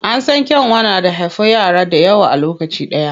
An san kyanwa da haifo yara dayawa a lokaci ɗaya.